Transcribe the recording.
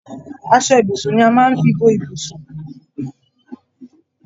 Aṣọ ibùsùn ni a máa ń fi bo ibùsùn.